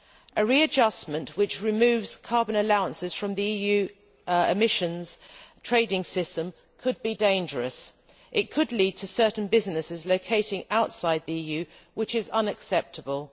A readjustment which removes carbon allowances from the EU emissions trading system could be dangerous. It could lead to certain businesses locating outside the EU, which is unacceptable.